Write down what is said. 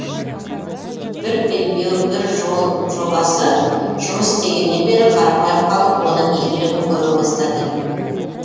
бір белдеу бір жол жобасы жұмыс істегеннен бері қарапайым халық оның игілігін көре бастады